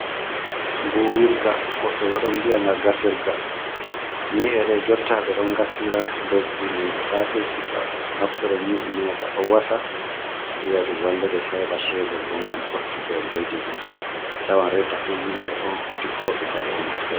Buwirga woɓɓe ɓo ɗon viya nga gasirga, nyi'e ɗe jotta ɓe ɗon gasira lesdi noi di sati fu, to a naftiri nyi'e nai ɗo ɗo wasa, ayiya ɗum wallete Sai aheɓa chebol bo ngam ɓuttugo ledde din, a tawan reta fu himɓe on dikkoɓe ba ɗo naftirta.